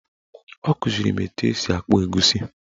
Ọ kụziri m etu esi akpụ egusi